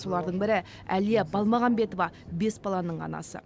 солардың бірі әлия балмағамбетова бес баланың анасы